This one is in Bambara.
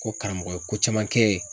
Ko karamɔgɔ ye ko caman kɛ .